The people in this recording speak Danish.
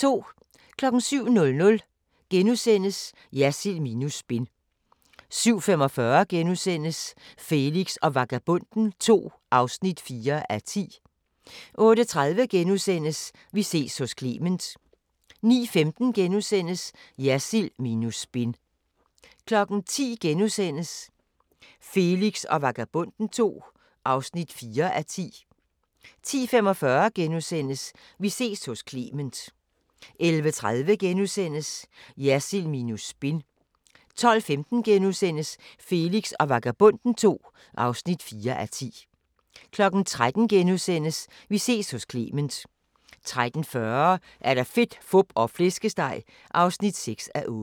07:00: Jersild minus spin * 07:45: Felix og Vagabonden II (4:10)* 08:30: Vi ses hos Clement * 09:15: Jersild minus spin * 10:00: Felix og Vagabonden II (4:10)* 10:45: Vi ses hos Clement * 11:30: Jersild minus spin * 12:15: Felix og Vagabonden II (4:10)* 13:00: Vi ses hos Clement * 13:40: Fedt, Fup og Flæskesteg (6:8)